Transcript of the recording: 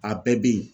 A bɛɛ bɛ yen